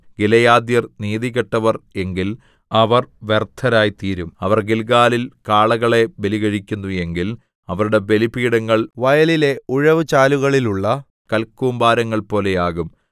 ഗിലെയാദ്യർ നീതികെട്ടവർ എങ്കിൽ അവർ വ്യർത്ഥരായിത്തീരും അവർ ഗില്ഗാലിൽ കാളകളെ ബലികഴിക്കുന്നു എങ്കിൽ അവരുടെ ബലിപീഠങ്ങൾ വയലിലെ ഉഴവുചാലുകളിൽ ഉള്ള കൽകൂമ്പാരങ്ങൾപോലെ ആകും